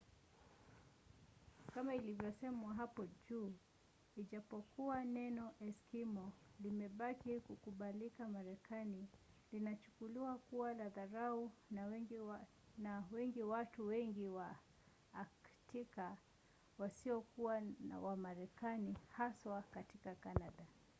kama ilivyosemwa hapo juu ijapokuwa neno eskimo” limebaki kukubalika marekani linachukuliwa kuwa la dharau na wengi watu wengi wa aktika wasiokuwa wa marekani haswa katika canada